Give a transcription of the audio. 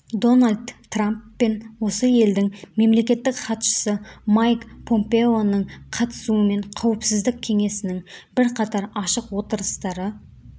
дональд трамп пен осы елдің мемлекеттік хатшысы майк помпеоның қатысуымен қауіпсіздік кеңесінің бірқатар ашық отырыстары